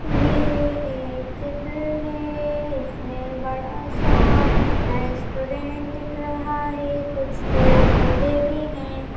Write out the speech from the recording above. यह एक चित्र में है इसमें बड़ा सा रेस्टोरेंट दिख रहा है कुछ पेड़ पौधे भी है।